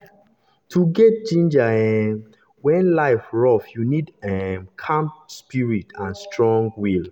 to still get ginger um when life rough you need um calm spirit and strong will.